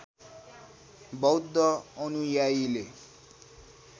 बौद्ध अनुयायीले